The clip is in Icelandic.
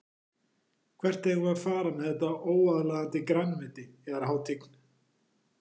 Hvert eigum við að fara með þetta óaðlaðandi grænmeti yðar hátign.